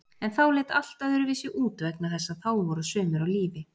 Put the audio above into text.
En þá leit allt öðruvísi út vegna þess að þá voru sumir á lífi.